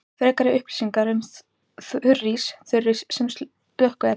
Frekari upplýsingar um þurrís: Þurrís sem slökkviefni.